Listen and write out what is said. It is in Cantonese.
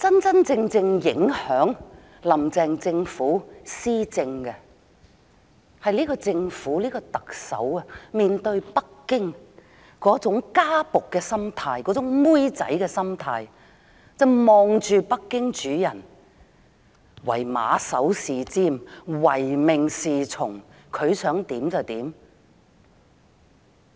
真正影響"林鄭"政府施政的，是政府和特首面對北京的家僕和婢女心態，以北京主人為馬首是瞻、唯命是從，他們想怎樣便怎樣。